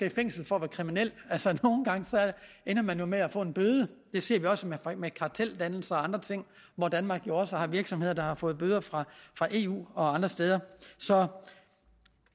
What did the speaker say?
i fængsel som kriminel nogle gange ender man jo med at få en bøde det ser vi også med karteldannelser og andre ting hvor danmark jo også har virksomheder der har fået bøder fra eu og andre steder så